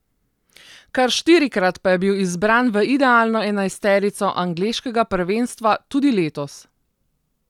Kar štirikrat pa je bil izbran v idealno enajsterico angleškega prvenstva, tudi letos.